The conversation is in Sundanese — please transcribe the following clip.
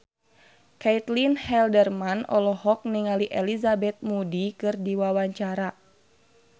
Caitlin Halderman olohok ningali Elizabeth Moody keur diwawancara